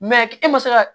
e ma se ka